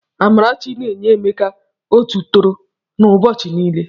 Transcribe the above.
Amarachi na-enye Emeka otu tọrọ na ụbọchi niile.